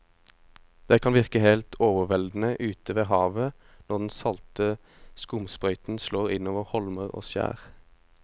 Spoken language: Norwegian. Det kan virke helt overveldende ute ved havet når den salte skumsprøyten slår innover holmer og skjær.